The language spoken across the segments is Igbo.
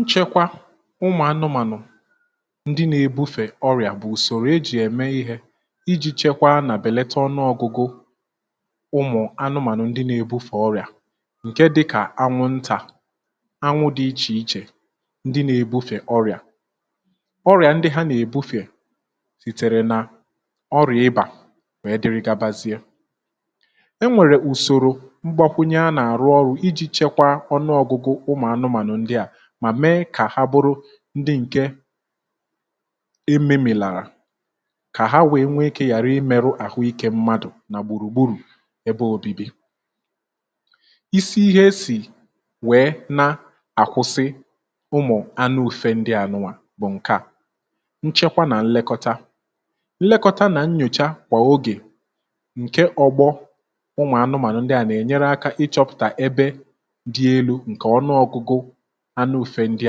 nchẹkwa ụmụ̀ anụmànụ̀ ndị nà-èbufè ọrịà bụ̀ ùsòrò ejì ème ihė iji̇ chẹkwaa nà bèlata ọnụọ̇gụ̇gụ̇ ụmụ̀ anụmànụ ndị nà-èbufè ọrịà ǹkẹ dịkà anwụntà anwụ dị ichè ichè ndị nà-èbufè ọrịà, ọrịà ndị ha nà-èbufè sìtèrè nà ọrịà ịbà wèe dere gabazịa, e nwèrè ùsòrò mgbakwunye a nà-àrụ ọrụ̇ iji chekwaa ọnụọgụgụ umu anumanu ndia mà mee kà ha bụrụ ndị ǹke ememìlàrà kà ha wèe nwee ikė yàra imėrụ àhụikė mmadụ̀ nà gbùrùgburù ebe òbibi isi ihe esì wèe na-àkwụsị ụmụ̀ anụ ufe ndị à nuwà bụ̀ ǹke à nchekwa nà nlekọta, nlekọta nà nnyòcha kwà ogè ǹke ọgbọ ụmụ̀ anụmànụ ndị a na ènyere aka ịchọ̇pụ̀tà ebe dị elu nke ọnụọgụgụ anụ ufė ndị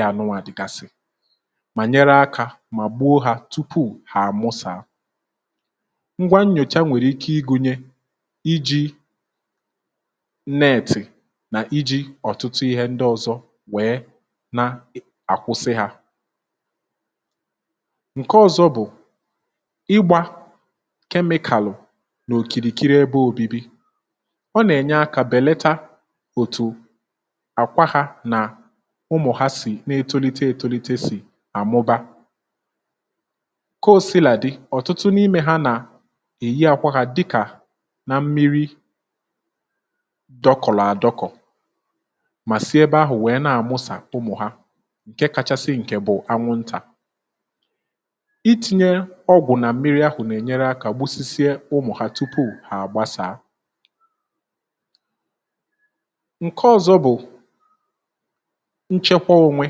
anu wa dịgasị mà nyere akȧ mà gbuo hȧ tupu hà àmụsà, ngwa nnyòcha nwèrè ike igunye iji netì nà iji̇ ọ̀tụtụ ihe ndị ọ̇zọ̇ wèe na-àkwụsị hȧ, ǹke ọ̇zọ̇ bụ̀ igbȧ kemịkàlụ̀ n’òkìrìkiri ebe òbibi ọ nà-ènye akȧ bèlata òtù akwa ha na ụmụ̀ ha sì n’etolite etolite sì àmụba ko sila dị ọ̀tụtụ n’imė ha nà èyi àkwa hȧ dịkà nà mmiri dọkọ̀lọ̀ àdọkọ̀ mà sì ebe ahụ̀ wèe na-àmụsà ụmụ̀ ha ǹke kachasị ǹkè bụ̀ anwụntà, iti̇nyė ọgwụ̀ nà mmiri ahụ̀ na-ènyere akȧ gbusisie ụmụ̀ ha tupu hà àgbasàa ǹke ọ̇zọ̇ bụ̀ nchekwa onwe,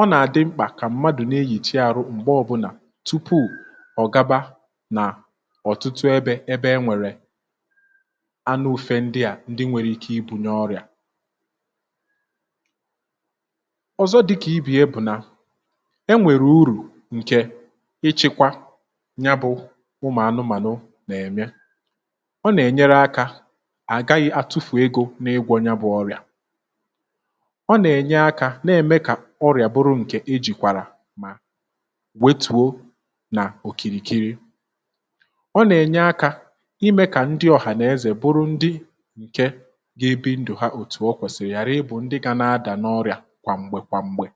ọ nà-àdị mkpà kà mmadụ̀ nà-eyichi arụ m̀gbè ọbụlà tupu ọ̀ gaba nà ọ̀tụtụ ebe ebe enwèrè anụ ufė ndị à ndị nwèrè ike ibùnye ọrịà, ọ̀zọ dịkà ibe ya bụ̀ nà e nwèrè urù ǹkè ịchị̇kwa ya bụ̇ ụmụ̀ anụmànụ nà-ème, ọ nà-ènyere akȧ àgaghị atụfụ̀ egȯ n’ịgwọ̇ ya bụ̇ ọrịà, ọ na-enye aka na-eme ka ọrià bụrụ ǹke ejìkwàrà mà wetùo nà òkìrìkiri ,ọ nà-ènye akȧ imė kà ndị ọ̀hànàezè bụrụ ndị ǹke ga-ebi ndụ̀ ha òtù o kwèsị̀rị̀ yàrị ịbụ̇ ndị gȧ-adà n’ọrịà kwà m̀gbè kwà m̀gbè